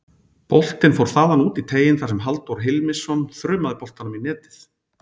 Boltinn fór þaðan út í teiginn þar sem Halldór Hilmisson þrumaði boltanum í netið.